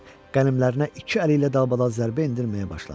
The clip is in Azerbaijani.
Qənimlərinə iki əli ilə dalbadal zərbə endirməyə başladı.